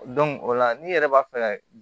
o la n'i yɛrɛ b'a fɛ ka